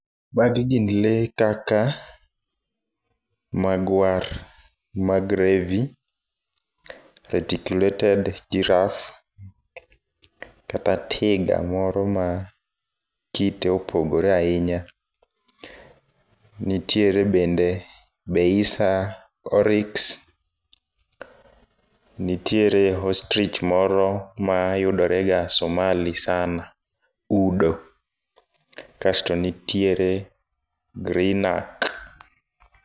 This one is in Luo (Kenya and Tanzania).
Mag gin le kaka magwar mag revi, reticulated giraffe, kata tiga moro ma kite opogore ahinya. Nitiere bende beisa oryx, nitiere ostrich moro ma yudore ga Somali sana, udo. Kato nitiere greenak.